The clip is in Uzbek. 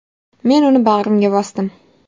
Men uni bag‘rimga bosdim.